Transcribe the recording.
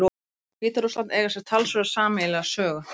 Rússland og Hvíta-Rússland eiga sér talsverða sameiginlega sögu.